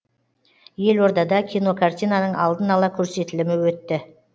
елордада кинокартинаның алдын ала көрсетілімі өтті